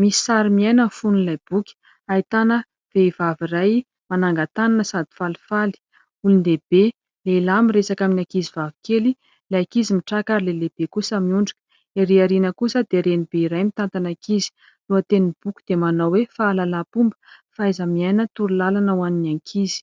Misy sary miaina ny fonon'ilay boky ahitana vehivavy iray manangan-tanana sady falifaly, olon-dehibe lehilahy miresaka amin'ny ankizivavy kely ilay ankizy mitraka ary ilay lehibe kosa miondrika. Erỳ aoriana kosa dia Renibe iray mitantana ankizy. Lohateny boky dia manao hoe : "fahalalam-pomba, fahaiza-miaina, torolalana ho an'ny ankizy".